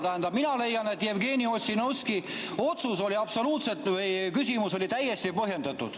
Tähendab, mina leian, et Jevgeni Ossinovski otsus või küsimus oli täiesti põhjendatud.